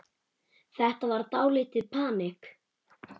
Þetta var dálítið panikk.